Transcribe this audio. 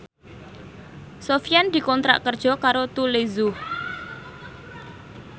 Sofyan dikontrak kerja karo Tous Les Jour